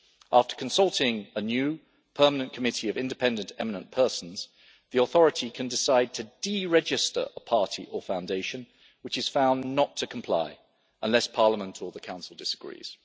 After consulting a new permanent committee of independent eminent persons, the authority can decide to deregister a party or foundation which is found not to comply, unless Parliament or the Council disagrees.